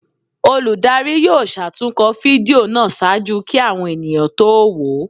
Olùdarí yóò ṣatunkọ fídío náá ṣaaju ki awọn eníyan to wo o